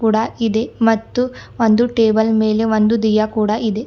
ಕೂಡಾ ಇದೆ ಮತ್ತು ಒಂದು ಟೇಬಲ್ ಮೇಲೆ ಒಂದು ದಿಯಾ ಕೂಡ ಇದೆ.